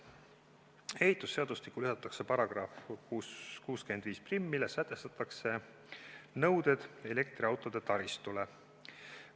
Ehitusseadustikku lisatakse § 651, milles sätestatakse nõuded elektriautode taristule.